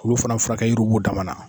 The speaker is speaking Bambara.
Olu fana furakɛ yiriw b'u dama na